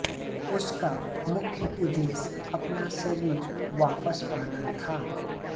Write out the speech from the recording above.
उसका मुख्य उद्देश्य अपना शरीर वापस पाना था